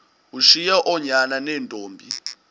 ushiye oonyana neentombi